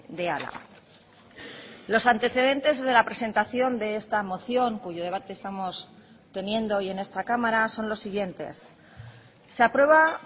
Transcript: de álava los antecedentes de la presentación de esta moción cuyo debate estamos teniendo hoy en esta cámara son los siguientes se aprueba